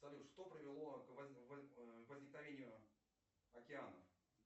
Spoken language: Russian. салют что привело к возникновению океанов